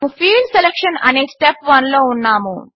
మనము field selection అనే step 1 లో ఉన్నాము